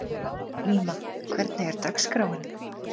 Íma, hvernig er dagskráin?